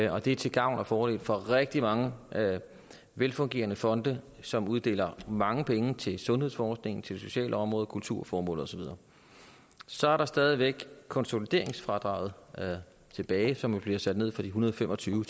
og det er til gavn og fordel for rigtig mange velfungerende fonde som uddeler mange penge til sundhedsforskning til det sociale område kulturformål og så videre så er der stadig væk konsolideringsfradraget tilbage som bliver sat ned fra en hundrede og fem og tyve